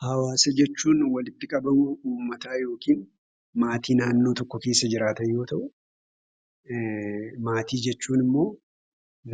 Hawwaasa jechuun walitti qabama uummataa yookiin maatii naannoo tokko keessa jiraatan yoo ta'u; Maatii jechuun immoo